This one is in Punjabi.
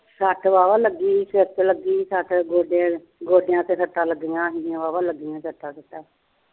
ਸੱਟ ਵਾਹ ਵਾਹ ਲੱਗੀ ਸਿਰ ਦੇ ਲੱਗੀ ਗੋਡਿਆ ਦੇ ਗੋਡਿਆ ਦੇ ਸੱਟਾ ਲੱਗਿਆ ਵਾਹ ਵਾਹ ਲੱਗੀਆਂ ਸੱਟਾ ਸੁਟਾ